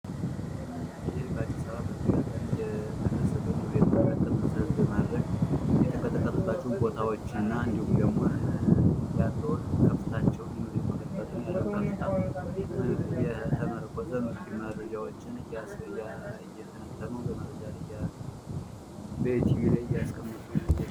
ይህ በአዲስ አበባ በተደጋጋሚ እየተከሰተ ያለዉን የመሬት መይቀጥቀጥ መሰረት በማድረግ የተቀጠቀጠባቸዉን ቦታዎች እና እንዲሁም ያለዉን ከፍታቸዉይ የመሬት መንቀጥቀጥ ያለዉን ከፍታም የተመረኮዘ ያለዉን መረጃ እየተነተኑ በኢቲቪ ላይ እያስቀመጡ ነዉ።